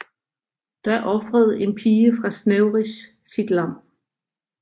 Da ofrede en pige fra Snevris sit lam